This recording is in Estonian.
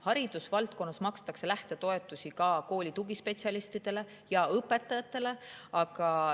Haridusvaldkonnas makstakse lähtetoetusi ka kooli tugispetsialistidele ja õpetajatele.